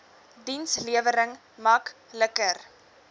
dienslewering mak liker